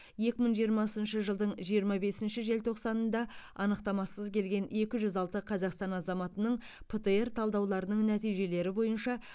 екі мың жиырмасыншы жылдың жиырма бесінші желтоқсанында анықтамасыз келген екі жүз алты қазақстан азаматының птр талдауларының нәтижелері бойынша